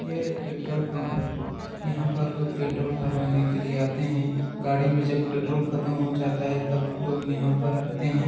यह एक petrol pump है यहाँ पर लोग पेट्रोल भरवाने के लिए आते है गाड़ी में जब पेट्रोल खत्म हो जाता है तब लोग यहाँ पर आते है।